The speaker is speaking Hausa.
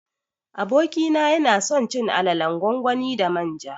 Abokina yanason cin alalan gwangwani da manja